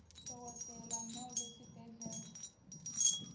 dokotela nobe sibhedlela